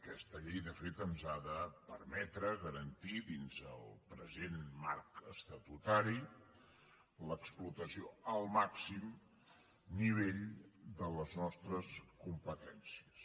aquesta llei de fet ens ha de permetre garantir dins el present marc estatutari l’explotació al màxim nivell de les nostres competències